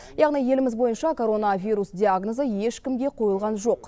яғни еліміз бойынша коронавирус диагнозы ешкімге қойылған жоқ